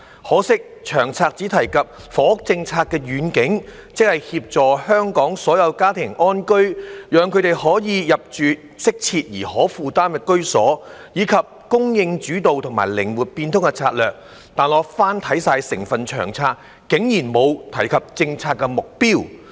可惜《長策》只提及房屋政策的願景，即"協助香港所有家庭安居，讓他們可以入住適切而可負擔的居所"，以及"供應主導"和"靈活變通"的策略，但翻看整份《長策》，竟然沒有提及政策目標。